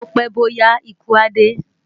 Bó pè bó yá ikú á dé